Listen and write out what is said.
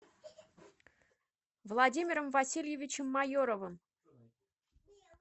владимиром васильевичем майоровым